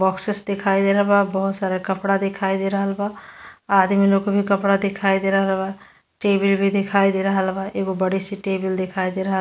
Boxes दिखाई दे रहल बा। बोहोत सारे कपड़े दिखाई दे रहल बा। आदमी लोग के भी कपड़ा दिखाई दे रहल बा। टी_वी भी दिखाई दे रहल बा। एगो बड़ी सी टेबल दिखाई दे रहल --